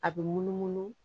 A bɛ munumunu